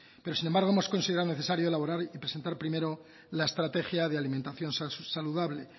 pero sin embargo hemos considerado necesario elaborar y presentar primero la estrategia de alimentación saludable